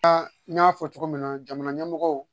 n y'a fɔ cogo min na jamana ɲɛmɔgɔw